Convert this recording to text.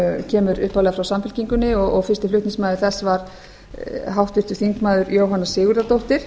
kemur upphaflega frá samfylkingunni og fyrsti flutningsmaður þess var háttvirtir þingmenn jóhanna sigurðardóttir